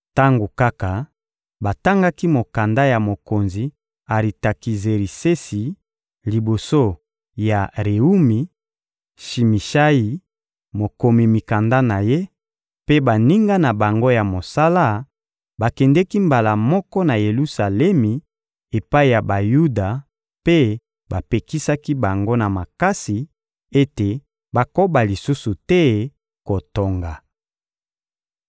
Tango kaka batangaki mokanda ya mokonzi Aritakizerisesi liboso ya Rewumi; Shimishayi, mokomi mikanda na ye, mpe baninga na bango ya mosala bakendeki mbala moko na Yelusalemi epai ya Bayuda mpe bapekisaki bango na makasi ete bakoba lisusu te kotonga.